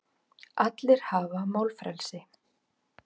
Allir hafa málfrelsi.